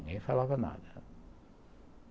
Ninguém falava nada.